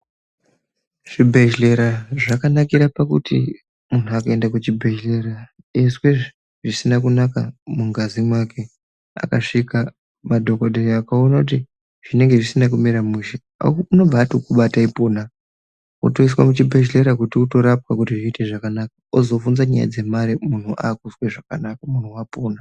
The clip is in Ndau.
Zvibhehlera zvakanakira pakuti munhu akaenda kuzvibhehlera eizwe zvisina kunaka mungazi mwake akasvika madhokodheya akaona kuti zvinenge zvisina kumira mushe anobva atokubata ipona wotoiswa muchibhedhlera kuti utorapwa kuti zviite zvakanaka ozobva nyaya dzemare munhu akuzwe zvakanaka munhu wapona.